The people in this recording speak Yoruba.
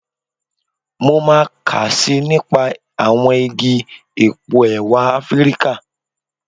Mo máa kà síi nípa àwọn igi epo ẹ̀wà Afíríkà.